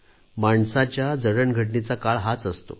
माणसाच्या जडणघडणीचा काळ हाच असतो